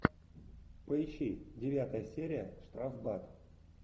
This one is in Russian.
поищи девятая серия штрафбат